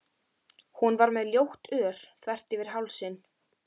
Hún var með ljótt ör þvert yfir hálsinn.